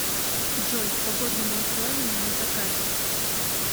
джой с погодными условиями на закате